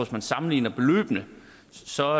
man sammenligner beløbene så